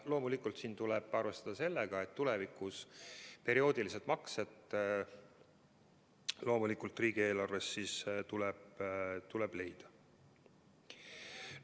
Loomulikult tuleb siin arvestada sellega, et tulevikus tuleb perioodilised maksed loomulikult riigieelarvest leida.